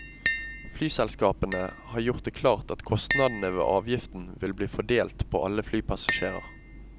Flyselskapene har gjort det klart at kostnadene ved avgiften vil bli fordelt på alle flypassasjerer.